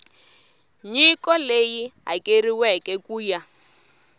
nyiko leyi hakeriweke ku ya